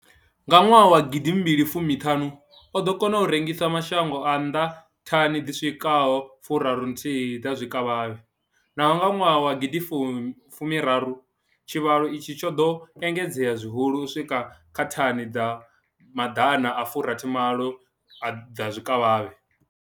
Nga gidi mbili fumi ṱhanu, o ḓo kona u rengisela mashango a nnḓa thani dzi swikaho furaru thihi dza zwikavhavhe, nahone nga gidi mbili fumi rathi tshivhalo itshi tsho ḓo engedzea zwihulwane u swika kha thani dza ḓana furathi malo dza zwikavhavhe.